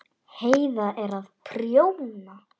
Heiða er að prjóna.